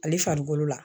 Ale farikolo la